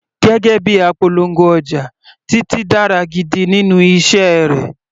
Gẹ́gẹ́ bíi apolongo ọjà, Titi dára gidigidi nínú iṣẹ́ rẹ̀.